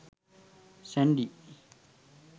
sandy